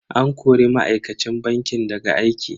An kori ma'aikacin bankin daga aiki.